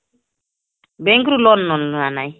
bank ରୁ loan ମୋର ନାଇଁ